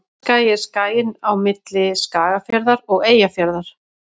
Tröllaskagi er skaginn á milli Skagafjarðar og Eyjafjarðar.